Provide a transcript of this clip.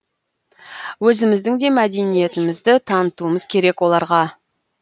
өзіміздің де мәдениетімізді танытуымыз керек оларға